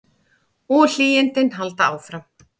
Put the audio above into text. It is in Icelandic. Og hlýindin halda áfram.